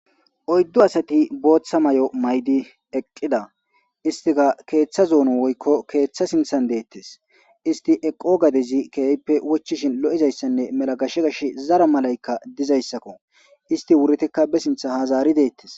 oyddu asati booththa may7o maydi eqqida istika keeththa zoono woykko keeththa sinthan deettes isti eqqo gadezi keeyippe wochishin lo7izayssanne mela gashe gash zara malaykka dizayssakko isti wuretikka be sintha hazaari deettes